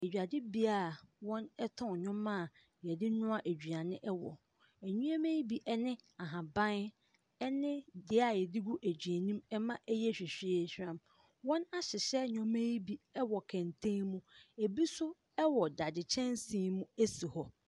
Dwadibea a wɔtɔn nneɛma a wɔde noa aduane wɔ. Nneam yi bine ahaban ne dua a wɔde gu aduane mu ma no yɛ hwahwaahwam. Wɔahyehyɛ nneɛma yi bi wɔ kɛntɛn mu. Ɛbi nso wɔn dadeɛ kyɛnsee mu si hɔ.